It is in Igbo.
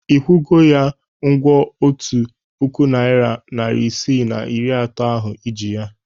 Ị kwụgo ya ụgwọ otu puku naịra, narị isii na iri atọ ahụ ị ji ya?